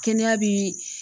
Kɛnɛya bi